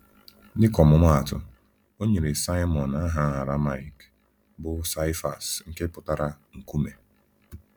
Dịka ọmụmaatụ, o nyere Saịmọn aha Arameik bụ́ Sifas nke pụtara “Nkume.”